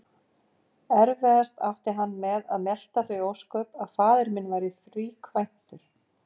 Erfiðast átti hann með að melta þau ósköp að faðir minn væri þríkvæntur.